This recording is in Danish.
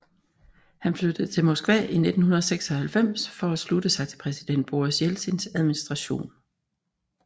Han flyttede til Moskva i 1996 for at slutte sig til præsident Boris Jeltsins administration